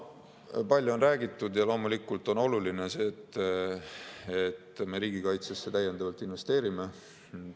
Palju on räägitud ja loomulikult on see oluline, et me riigikaitsesse täiendavalt investeerime.